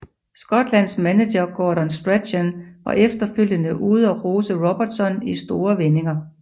Skotlands manager Gordon Strachan var efterfølgende ude og rose Robertson i store vendinger